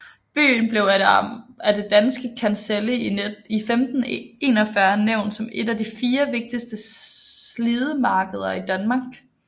Byen blev af det danske kancelli i 1541 nævnt som et af de fire vigtigste sildemarkeder i Danmark